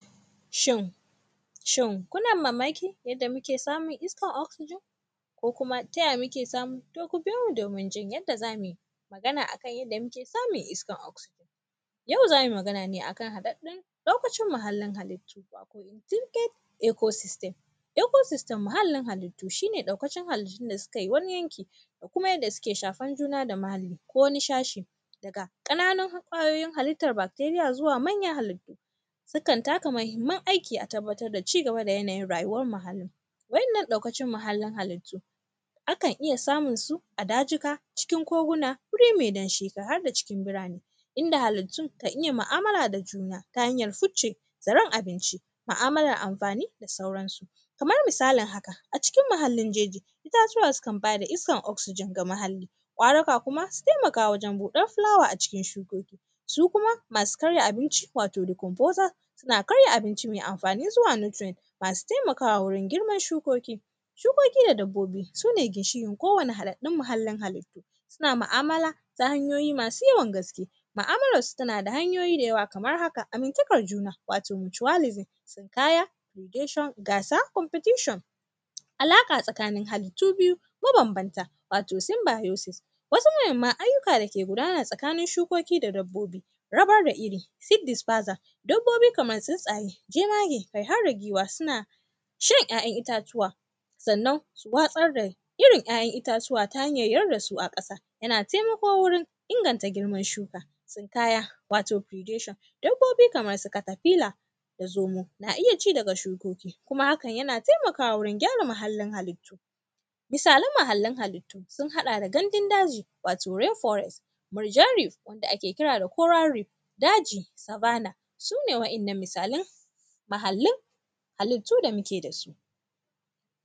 Shin, shin, kuna mamakin yadda muke samun iskar “oxsegyn” ko kuma ta ya muke samu? To, ku biyo domin jin yadda za mu yi magan a kan yadda muke samun iskar “oxsegyn”. Yau za mui magana ne a kan haɗaɗɗun ɗaukacin muhallin halittu, wato “tintec ecosystem”. “Ecosystem”, muhallin halittu, shi ɗaukacin halittun da sukai wani yanki da kuma yanda sike shafan juna da mahalli ko wani shashi daga ƙananun ƙwayoyin halittar bakteriya zuwa manyan halittu. Sukan taka mahimman aiki a tabbatar da ci gaba da yanayin rayuwar muhalli, wannan ɗaukacin muhallin halittu, akan iya samun su a dajika, cikin koguna, guri me damshi har da cikin burane, inda halittun kan iya ma’amala da juna ta hanyar ficce zaren abinci, ma’amalar amfani da sauransu. Kamar misalign haka, a cikin uhallin jeji, itatuwa sukan ba da iskar oksijin ga muhalli. Ƙwarika kuma, su taimaka wajen buɗar fulawa a cikin shukoki. Su kuma, amsu karya abinci, wato “decomposer”, suna karya abinci me amfani zuwa “nutrient”, masu taimakawa wurin girman shukoki. Shukoki da dabbobi, sune ginshiƙin kowane haɗaɗɗun mahallin halittu, suna ma’amala ta hanyoyi masu yawan gaske. Ma’amalarsu tana da hanyoyi da yawa kamar haka, amintakar juna, wato “mutualism”, tsinkaya “bilgation”, gasa “competition”. Alaƙa tsakanin halittu biyu mabambanta, wato “simbiosis”. Wasu mahimman ayyuka dake gudana tsakanin shukoki da dabbobi, rabar da iri “seed dispurser”. Dabbobi kamar tsintsaye, jemage kai har da giwa suna shan ‘ya’yan itatuwa, sannan su watsar da irin ‘ya’yan itatuwa ta hanyar yar da su a ƙasa. Yan temako wurin inganta girman shuka, tsinkaya, wato “bilgation”, dabbobi kamar su katafila da zomo, na iya ci daga shukoki, kuma hakan yana temakawa wurin gyara muhallin halittu. Misalin muhallin halittu, sun haɗa da gandun daji, wato “reforest”, “mirjareef” wanda ake kira da “cowareef”, daji “savannah”, su ne wa’innan misalai, mahallin halittu da muke da su.